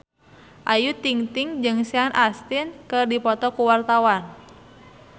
Ayu Ting-ting jeung Sean Astin keur dipoto ku wartawan